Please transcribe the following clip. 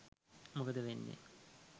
මොකද වෙන්නේ?